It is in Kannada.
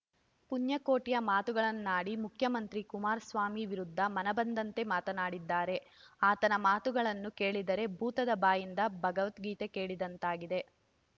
ಪುಣ್ಯಕೋಟಿಯ ಮಾತುಗಳನ್ನಾಡಿ ಮುಖ್ಯಮಂತ್ರಿ ಕುಮಾರಸ್ವಾಮಿ ವಿರುದ್ಧ ಮನಬಂದಂತೆ ಮಾತನಾಡಿದ್ದಾರೆ ಆತನ ಮಾತುಗಳನ್ನು ಕೇಳಿದರೆ ಭೂತದ ಬಾಯಿಂದ ಭಗವದ್ಗೀತೆ ಕೇಳಿದಂತಾಗಿದೆ